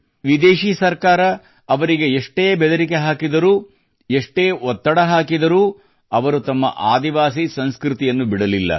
ವಿದೇಶೀ ಸರ್ಕಾರ ಅವರಿಗೆ ಎಷ್ಟೇ ಬೆದರಿಕೆ ಹಾಕಿದರೂ ಎಷ್ಟೇ ಒತ್ತಡ ಹಾಕಿದರೂ ಅವರು ತಮ್ಮ ಆದಿವಾಸಿ ಸಂಸ್ಕೃತಿಯನ್ನು ಬಿಡಲಿಲ್ಲ